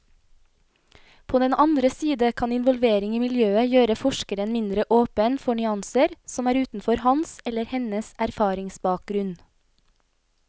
På den andre side kan involvering i miljøet gjøre forskeren mindre åpen for nyanser som er utenfor hans eller hennes erfaringsbakgrunn.